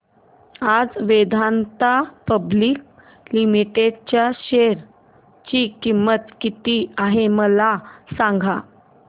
आज Vedanta public limited च्या share ची किंमत किती आहे मला सांगा